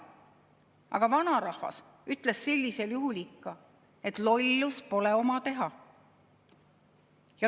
Aga vanarahvas ütles sellisel juhul ikka, et lollus pole oma teha.